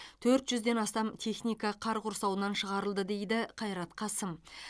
төрт жүзден астам техника қар құрсауынан шығырылды дейді қайрат қасым